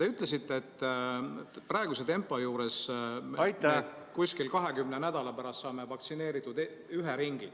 Te ütlesite, et praeguse tempo juures ...... umbes 20 nädala pärast saame vaktsineeritud ühe ringi.